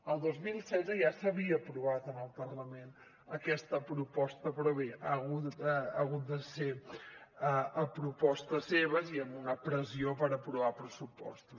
el dos mil setze ja s’havia aprovat en el parlament aquesta proposta però bé ha hagut de ser a propostes seves i amb una pressió per aprovar pressupostos